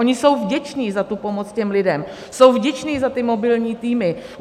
Oni jsou vděčni za tu pomoc těm lidem, jsou vděčni za ty mobilní týmy.